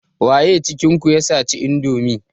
Waye cikin ku ya saci indomi?